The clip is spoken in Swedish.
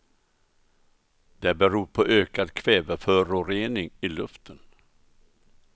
Det beror på ökad kväveförorening i luften.